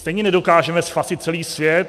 Stejně nedokážeme spasit celý svět.